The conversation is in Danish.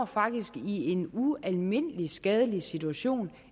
faktisk i en ualmindelig skadelig situation